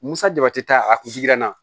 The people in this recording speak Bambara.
Musa jaba ti taa a kun na